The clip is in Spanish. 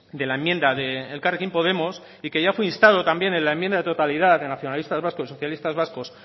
de la enmienda de elkarrekin podemos y que ya fue instado también en la enmienda de totalidad de los nacionalistas vascos y socialistas vascos